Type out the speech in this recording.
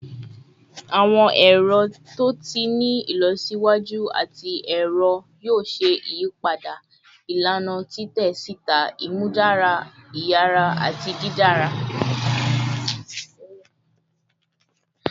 Awọn ẹrọ to ti ni ilọsiwaju ati ẹrọ yoo ṣe iyipada ilana titẹ sita, imudara iyara ati didara